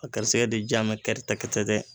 A garisigɛ de jaa bɛ kɛrɛtɛkɛtɛtɛ.